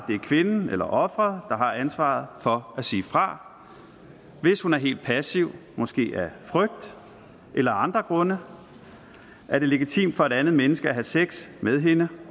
det er kvinden eller offeret der har ansvaret for at sige fra hvis hun er helt passiv måske af frygt eller af andre grunde er det legitimt for et andet menneske at have sex med hende